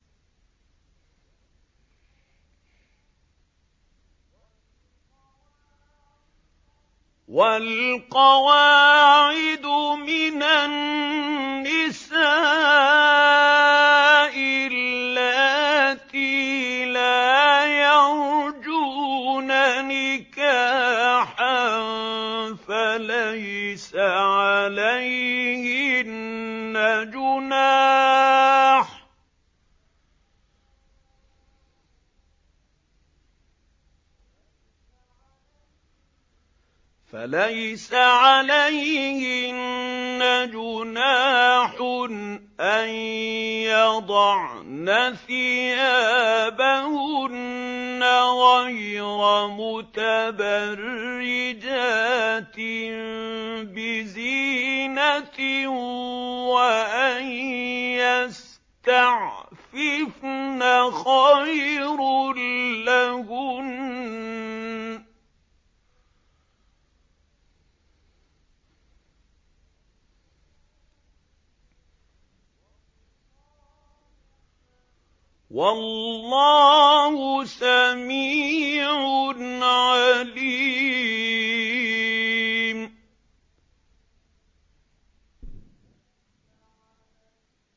وَالْقَوَاعِدُ مِنَ النِّسَاءِ اللَّاتِي لَا يَرْجُونَ نِكَاحًا فَلَيْسَ عَلَيْهِنَّ جُنَاحٌ أَن يَضَعْنَ ثِيَابَهُنَّ غَيْرَ مُتَبَرِّجَاتٍ بِزِينَةٍ ۖ وَأَن يَسْتَعْفِفْنَ خَيْرٌ لَّهُنَّ ۗ وَاللَّهُ سَمِيعٌ عَلِيمٌ